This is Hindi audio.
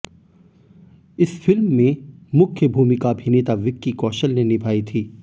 इस फिल्म में मुख्य भूमिका अभिनेता विक्की कौशल ने निभाई थी